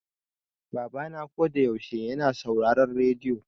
Baba na ko da yaushe yana sauraron rediyo.